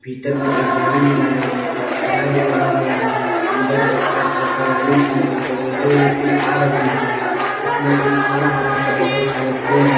भीतर में एक गाड़ी भी लगाय गया है एक ठेला भी लगाय गया है उधर एक चार चक्का गाड़ी भी है उस दो व्यक्ति आ रही है उसमे एक हरा-हरा सा बहोत सारे पेड़ है।